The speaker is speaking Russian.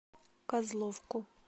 козловку